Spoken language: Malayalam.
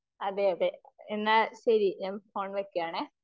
അതേ അതേ എന്നാ ശെരി ഞാൻ ഫോൺ വെക്കുകയാണെ.